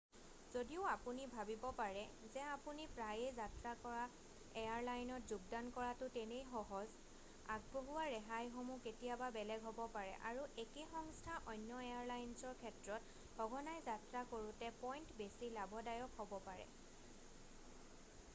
যদিও আপুনি ভাৱিব পাৰে যে আপুনি প্ৰায়েই যাত্ৰা কৰা এয়াৰলাইনত যোগদান কৰাটো তেনেই সহজ আগবঢ়োৱা ৰেহাইসমূহ কেতিয়াবা বেলেগ হ'ব পাৰে আৰু একে সংস্থাৰ অন্য এয়াৰলাইনছৰ ক্ষেত্ৰত সঘনাই যাত্ৰা কৰোঁতাৰ পইণ্ট বেছি লাভদায়ক হ'ব পাৰে